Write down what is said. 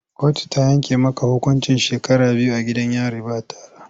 Kotu ta yanke maka hukuncin shekara biyu a gidan yari ba tara!